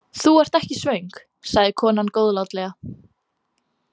Þú ert ekki svöng, sagði konan góðlátlega.